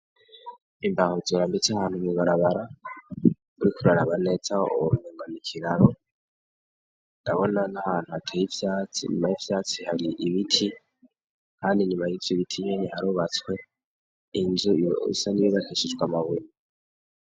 Imbaho zirambitse ahantu mw'ibarabara uriko uraraba neza womengo ni ikiraro ndabona n'ahantu hateye ivyatsi inyuma y'ivyatsi hari ibiti kandi inyuma y'ivyo biti nyene harubatswe inzu isa n'iyubakishijwe amabuye.